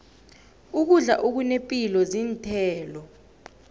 ukudla okunepilo zinthelo